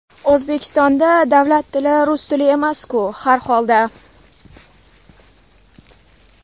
O‘zbekistonda davlat tili rus tili emasku, har holda.